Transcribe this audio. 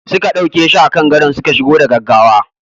Suka dauke shi a kan gadon suka shigo da gaggawa.